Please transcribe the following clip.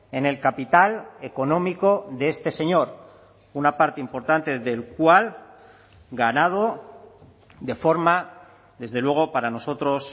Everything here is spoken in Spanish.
en el capital económico de este señor una parte importante del cual ganado de forma desde luego para nosotros